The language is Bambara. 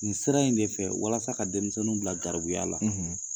Nin sira in de fɛ walasa ka denmisɛnninw bila garbuya la, .